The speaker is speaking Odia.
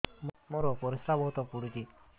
ମୋର ପରିସ୍ରା ବହୁତ ପୁଡୁଚି